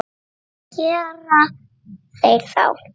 Hvað gera þeir þá?